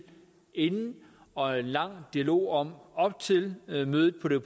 inden og en lang dialog om op til mødet på det